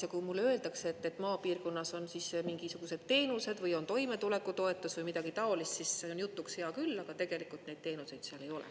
Ja kui mulle öeldakse, et maapiirkonnas on mingisugused teenused või on toimetulekutoetus või midagi taolist, siis see on jutuks hea küll, aga tegelikult neid teenuseid seal ei ole.